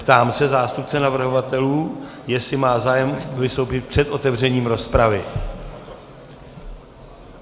Ptám se zástupce navrhovatelů, jestli má zájem vystoupit před otevřením rozpravy.